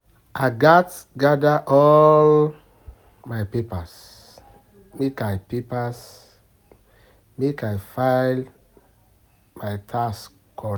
I gats gada all my papers make I papers make i file my tax.